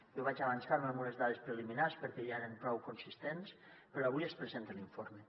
jo vaig avançar me amb unes dades preliminars perquè ja eren prou consistents però avui es presenta l’informe